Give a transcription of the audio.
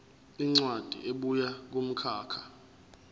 incwadi ebuya kumkhakha